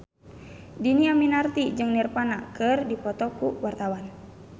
Dhini Aminarti jeung Nirvana keur dipoto ku wartawan